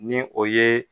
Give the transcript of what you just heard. Ni o ye